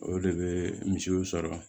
O de bɛ misiw sɔrɔ